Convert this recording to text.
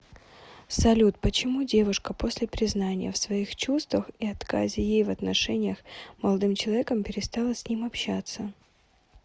салют почему девушка после признания в своих чувствах и отказе ей в отношениях молодым человеком перестала с ним общаться